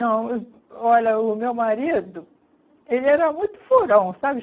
Não, olha, o meu marido, ele era muito furão, sabe?